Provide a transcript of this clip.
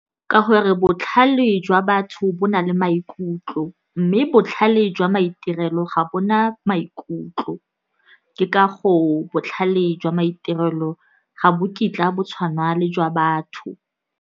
Ka gore botlhale jwa batho bo na le maikutlo, mme botlhale jwa maitirelo ga bona maikutlo, ke ka go botlhale jwa maitirelo ga bo kitla bo tshwana le jwa batho.